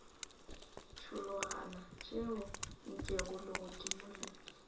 tšhologana tšeo nkego legodimo le